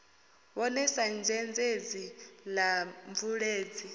vhone sa dzhendedzi la mubveledzi